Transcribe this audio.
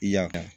I ya kan